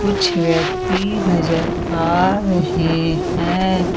कुछ व्यक्ति नजर आ रहे हैं।